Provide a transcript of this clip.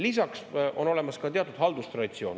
Lisaks on olemas ka teatud haldustraditsioon.